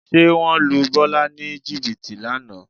Ṣé wọ́n lu Bọ́lá ní jìbìtì lánàá?